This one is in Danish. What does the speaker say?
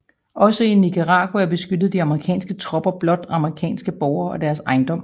Også i Nicaragua beskyttede de amerikanske tropper blot amerikanske borgere og deres ejendom